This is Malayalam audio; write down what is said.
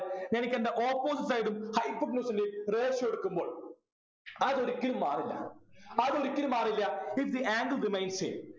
എനിക്കെൻ്റെ opposite side ഉം hypotenuse ൻ്റെയും ratio എടുക്കുമ്പോൾ അതൊരിക്കലും മാറില്ല അതൊരിക്കലും മാറില്ല if the angle remains same